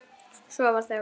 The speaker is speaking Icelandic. Svo varð þögn.